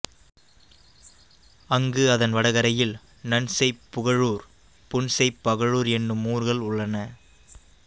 அங்கு அதன் வடகரையில் நன்செய்ப்புகழூர் புன்செய்ப்பகழூர் என்னும் ஊர்கள் உள்ளன